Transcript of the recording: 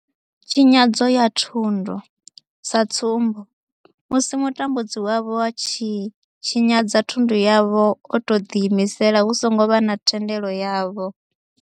Tshinyadzo ya thundu, sa tsumbo, musi mutambudzi wavho a tshi tshinyadza thundu yavho o tou ḓiimisela hu songo vha na thendelo yavho.